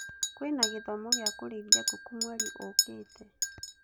Kwĩna gĩthomo gĩa kũrĩithia ngũkũ mweri ũkĩte